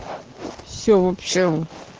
все в общем